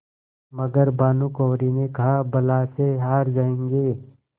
मगर भानकुँवरि ने कहाबला से हार जाऍंगे